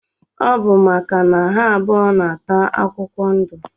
Ọbu maka na ha abụọ na ata akwụkwọ ndu.